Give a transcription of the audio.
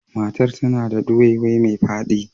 Matan ta na da duwaiwai mai fadi.